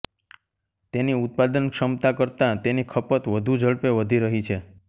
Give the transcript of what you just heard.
તેની ઉત્પાદન ક્ષમતા કરતા તેની ખપત વધુ ઝડપે વધી રહી છે